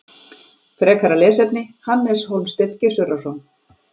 Frekara lesefni: Hannes Hólmsteinn Gissurarson.